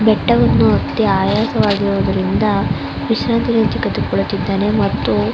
ಬೆಟ್ಟವನ್ನು ಹತ್ತಿ ಆಯಾಸ ಆಗಿರುವುದರಿಂದ ವಿಶ್ರಾಂತಿಯನ್ನು ತೆಗೆದು ಕೊಳ್ಳುತ್ತಿದ್ದಾನೆ ಮತ್ತು -